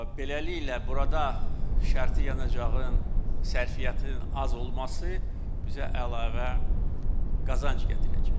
Beləliklə, burada şərti yanacağın sərfiyyatının az olması bizə əlavə qazanc gətirəcək.